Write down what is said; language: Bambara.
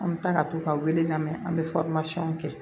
An bɛ taa ka t'u ka wele lamɛn an bɛ kɛ